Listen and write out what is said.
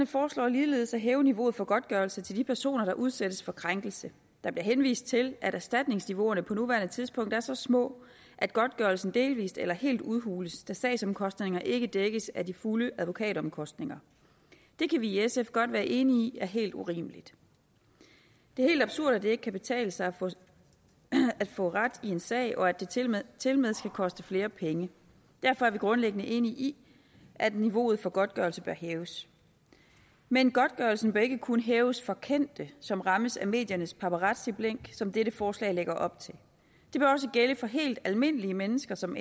foreslår ligeledes at hæve niveauet for godtgørelse til de personer der udsættes for krænkelse der bliver henvist til at erstatningsniveauerne på nuværende tidspunkt er så små at godtgørelsen delvist eller helt udhules da sagsomkostningerne ikke dækkes af de fulde advokatomkostninger det kan vi i sf godt være enige i er helt urimeligt det er helt absurd at det ikke kan betale sig at få ret i en sag og at det tilmed tilmed skal koste flere penge derfor er vi grundlæggende enige i at niveauet for godtgørelse bør hæves men godtgørelsen bør ikke kun hæves for kendte som rammes af mediernes paparazziblink som dette forslag lægger op til det bør også gælde for helt almindelige mennesker som